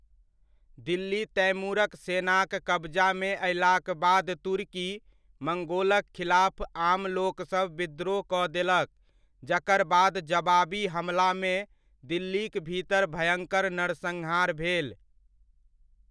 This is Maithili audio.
दिल्ली तैमूरक सेनाक कब्जामे अयलाक बाद तुर्की, मड़्गोलक खिलाफ आमलोकसभ विद्रोह कऽ देलक, जकर बाद जबाबी हमलामे दिल्लीक भीतर भयङ्कर नरसन्हार भेल।